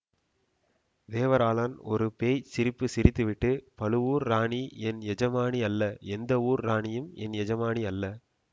தேவராளன் ஒரு பேய்ச் சிரிப்பு சிரித்துவிட்டு பழுவூர் ராணி என் எஜமானி அல்ல எந்த ஊர் ராணியும் என் எஜமானி அல்ல